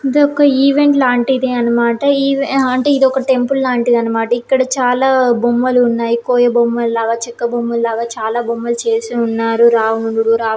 ఇది ఒక ఈవెంట్ లాంటిది అన్నమాట. ఆ అంటే ఇది ఒక టెంపుల్ లాంటిది అన్నమాట. ఇక్కడ చాలా బొమ్మలు ఉన్నాయి. కోయబొమ్మలాగ చెక్క బొమ్మ లాగా చాలా బొమ్మలు చేసి ఉన్నారు. రావణుడు రావ--